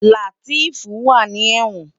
Lateef wá ni èwòn